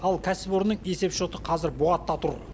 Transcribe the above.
ал кәсіпорынның есепшоты қазір бұғатта тұр